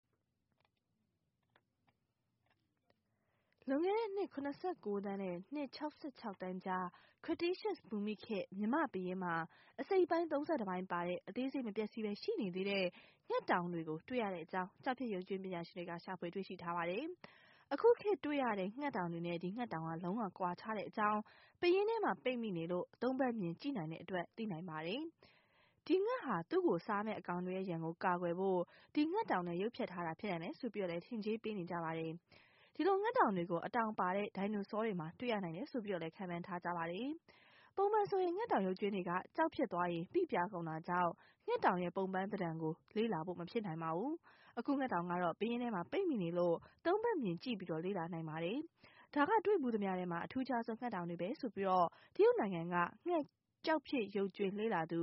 လွန်ခဲ့တဲ့နှစ် ၇၉ သန်းနဲ့ နှစ် ၆၆ သန်းကြား Cretaceous ဘူမိခေတ် မြန်မာပယင်းမှာ အစိတ်အပိုင်း ၃၁ ပိုင်း ပါတဲ့ အသေးစိတ် မပျက်စီးဘဲရှိနေသေးတဲ့ ငှက်တောင်တွေကို တွေ့ရကြောင်း ကျောက်ဖြစ် ရုပ်ကြွင်း ပညာရှင်တွေက ရှာဖွေတွေ့ရှိပါတယ်။ အခုခေတ်တွေ့ရတဲ့ ငှက်တောင်တွေနဲ့ ဒီငှက်တောင်က လုံး၀ ကွာခြားတဲ့အကြောင်း ပယင်းထဲမှာ ပိတ်မိနေလို့ ၃ ဘက်မြင်ကြည့်နိုင်တဲ့အတွက် သိနိုင်ပါတယ်။ ဒီငှက်ဟာ သူ့ကိုစားမယ့် အကောင်တွေရဲ့ ရန်ကို ကာကွယ်ဖို့ ဒီငှက်တောင်နဲ့ ရုပ်ဖျက်ထားတာ ဖြစ်နိုင်တယ်လို့ ထင်ကြေးပေးကြပါတယ်။ ဒီလိုငှက်တောင်တွေကို အတောင်ပါတဲ့ ဒိုင်နိုဆောတွေမှာ တွေ့ရနိုင်တယ်လို့လည်း ခန့်မှန်းကြပါတယ်။ ပုံမှန်ဆို ငှက်တောင်ရုပ်ကြွင်းတွေက ကျောက်ဖြစ်သွားရင် ပိပြားကုန်တာကြောင့် ငှက်တောင်ရဲ့ ပုံပန်းသဏ္ဍန်ကို လေ့လာဖို့ မဖြစ်နိုင်ပါဘူး။ အခုငှက်တောင်ကတော့ ပယင်းထဲမှာ ပိတ်မိနေတဲ့အတွက် ၃ ဘက်မြင် လေ့လာနိုင်ပါတယ်။ ဒါက တွေ့ဖူးသမျှထဲမှာ အထူးခြားဆုံးငှက်တောင်တွေပဲလို့ တရုတ်နိုင်ငံက ငှက်ကျောက်ဖြစ် ရုပ်ကြွင်းလေ့လာသ